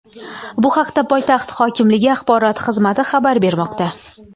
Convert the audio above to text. Bu haqda poytaxt hokimligi axborot xizmati xabar bermoqda.